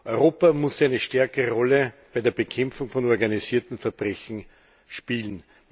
Europa muss eine stärkere Rolle bei der Bekämpfung von organisiertem Verbrechen spielen.